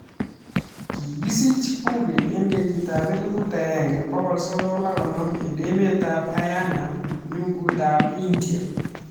Kikisich Puri eng kenyit ap 1950 emet ap Haryana ngunyut ap india.